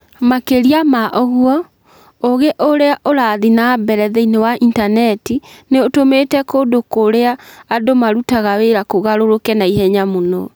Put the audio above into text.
Makĩria ma ũguo, ũgĩ ũrĩa ũrathiĩ na mbere thĩinĩ wa Intaneti nĩ ũtũmĩte kũndũ kũrĩa andũ marutaga wĩra kũgarũrũke na ihenya mũno.